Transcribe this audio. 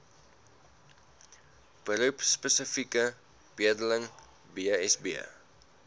beroepspesifieke bedeling bsb